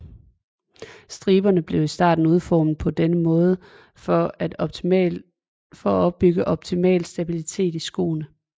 Striberne blev i starten udformet på denne måde for at opbygge optimal stabilitet i skoene